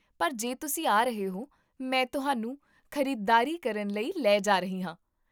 ਪਰ ਜੇ ਤੁਸੀਂ ਆ ਰਹੇ ਹੋ, ਮੈਂ ਤੁਹਾਨੂੰ ਖ਼ਰੀਦਦਾਰੀ ਕਰਨ ਲਈ ਲੈ ਜਾ ਰਹੀ ਹਾਂ